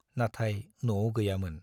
नाथाय न'आव गैयामोन।